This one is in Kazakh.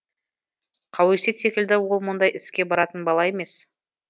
қауесет секілді ол мұндай іске баратын бала емес